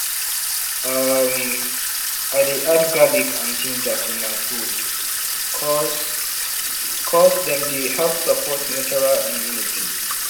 umm i dey add garlic and ginger to my food ’cause ’cause dem dey help support natural immunity